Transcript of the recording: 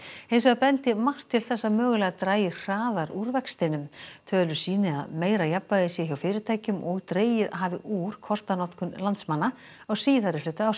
hins vegar bendi margt til þess að mögulega dragi hraðar úr vextinum tölur sýni að meira jafnvægi sé hjá fyrirtækjum og dregið hafi úr kortanotkun landsmanna á síðari hluta árs